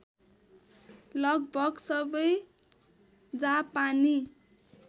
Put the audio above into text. लगभग सबै जापानी